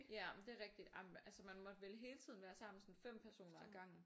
Ja men det er rigtig men man måtte vel hele tiden være sammen sådan 5 personer ad gangen